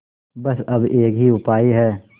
बस अब एक ही उपाय है